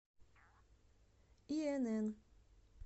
инн